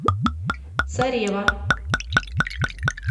царева